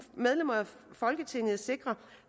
medlemmer af folketinget sikre